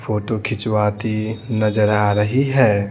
Photo खिंचवाती नजर आ रही है।